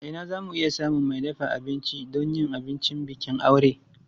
A ina za mu iya samun mai dafa abinci don yin abincin bikin aure?